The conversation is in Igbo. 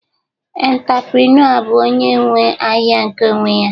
Entaprenua bụ onye nwe ahịa nke onwe ya